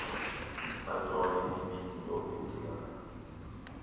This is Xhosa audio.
bajonge ividiyo becinga